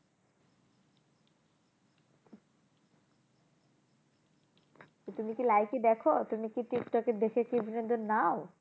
তা তুমি কি লাইকি দেখো? তুমি কি টিকটকে দেখে কি বিনোদন নাও?